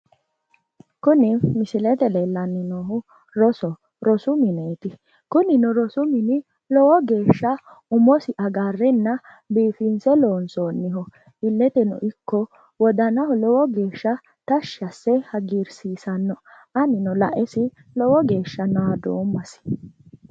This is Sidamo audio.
Kuni misilete leellanni noohu rosu mineeti; kunino rosu mini umosi agarrenna biifinse loonsoonniho. illeteno ikko wodanaho lowo geeshsha tashshi asse hagiirsiissanno anino lae kae lowo geeshsha naadoommasi.